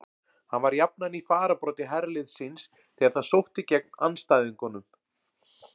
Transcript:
Hann var jafnan í fararbroddi herliðs síns þegar það sótti gegn andstæðingunum.